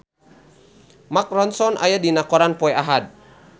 Mark Ronson aya dina koran poe Ahad